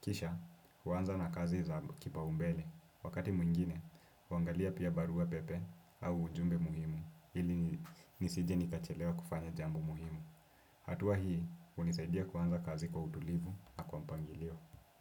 Kisha, huanza na kazi za kipaumbele. Wakati mwingine, huangalia pia barua pepe au ujumbe muhimu ili nisije nikachelewa kufanya jambo muhimu. Hatua hii, hunisaidia kuanza kazi kwa utulivu na kwa mpangilio.